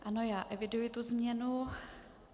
Ano, já eviduji tu změnu.